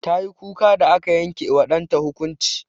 Tayi kuka da aka yanke wa ɗanta hukunci.